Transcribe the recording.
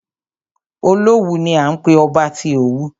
Olówù ni à ń pé ọba tí Òwu.